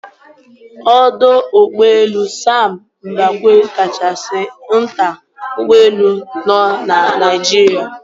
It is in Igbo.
Ọdọ Ụgbọelu Sam Mbakwe kachasi nta n'ụgbọelu nọ na Naijiri.